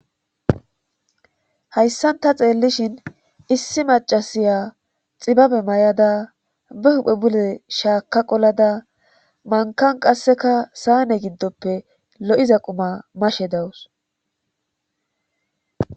Hayssanta xeellishin issi macasiya xibabe ma'daa be huphe bule shaaka qolada mankan qasseka saane giddoppe lo7iza quma mashe dawus.